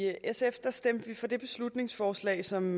sf stemte vi for det beslutningsforslag som